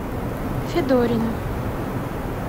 федорина